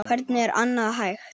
Hvernig er annað hægt?